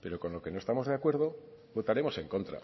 pero con lo que no estamos de acuerdo votaremos en contra